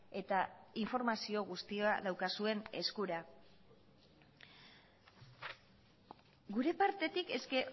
eta informazio guztia daukazuen eskura gure partetik eske